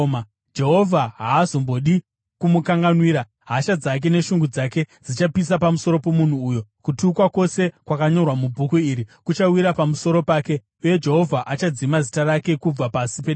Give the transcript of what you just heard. Jehovha haazombodi kumukanganwira; hasha dzake neshungu dzake zvichapisa pamusoro pomunhu uyo. Kutukwa kwose kwakanyorwa mubhuku iri kuchawira pamusoro pake, uye Jehovha achadzima zita rake kubva pasi pedenga.